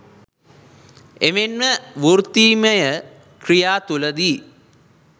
එමෙන්ම වෘත්තීයමය ක්‍රියා තුළදී